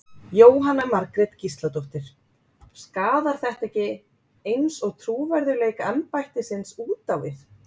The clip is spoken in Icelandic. Jóhanna Margrét Gísladóttir: Skaðar þetta ekki eins og trúverðugleika embættisins út á við?